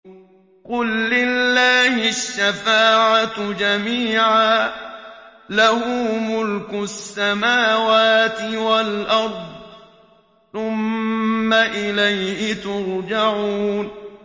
قُل لِّلَّهِ الشَّفَاعَةُ جَمِيعًا ۖ لَّهُ مُلْكُ السَّمَاوَاتِ وَالْأَرْضِ ۖ ثُمَّ إِلَيْهِ تُرْجَعُونَ